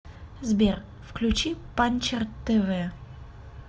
сбер включи панчер тэ вэ